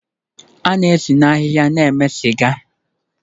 A na-esi na ahịhịa na-eme sịga